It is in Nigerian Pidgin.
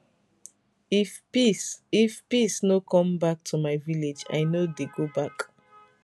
if peace if peace no comeback to my village i no dey go back